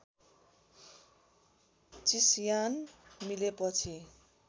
चिस्यान मिलेपछि